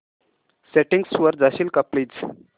settings वर जाशील का प्लीज